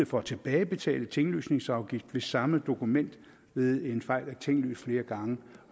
for at tilbagebetale tinglysningsafgift hvis samme dokument ved en fejl er tinglyst flere gange